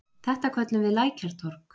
Þetta köllum við Lækjartorg.